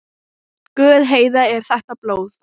Guð, Heiða, er þetta blóð?